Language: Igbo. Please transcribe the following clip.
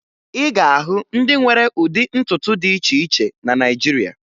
Ị ga-ahụ ndị nwere ụdị ntutu dị iche iche na Naịjirịa